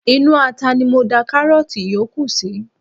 Inú ata ni mo da karoti yòókù sí.